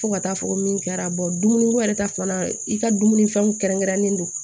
Fo ka taa fɔ ko min kɛra dumuni ko yɛrɛ ta fana i ka dumunifɛnw kɛrɛnkɛrɛnnen don